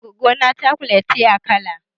Goggona chocolate ce a kala.